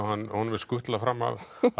honum er skutlað fram af